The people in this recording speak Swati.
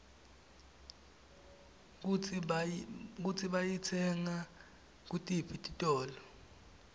kutsi bayitsenga kutiphi titolo